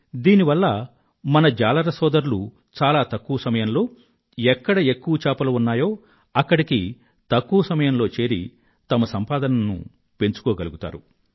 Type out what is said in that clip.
దీనివల్ల మన జాలర సోదరులు చాలా తక్కువ సమయంలో ఎక్కడ ఎక్కువ చేపలు ఉన్నాయో అక్కడికి తక్కువ సమయంలో చేరి తమ సంపాదన పెంచుకోగలుగుతారు